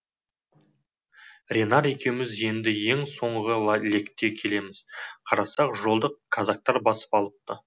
ренар екеуміз енді ең соңғы лекте келеміз қарасақ жолды казактар басып алыпты